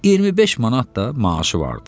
25 manat da maaşı vardı.